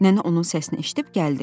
Nənə onun səsini eşidib gəldi.